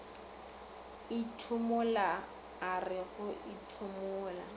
ethimola a re go ethimola